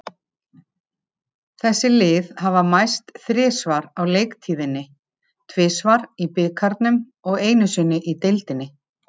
Þessi lið hafa mæst þrisvar á leiktíðinni, tvisvar í bikarnum og einu sinni í deildinni.